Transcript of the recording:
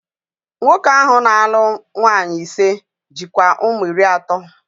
Nwoke ahụ na-alụ nwaanyị ise, jikwa ụmụ iri atọ